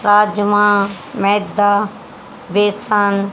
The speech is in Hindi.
राजमा मैदा बेसन--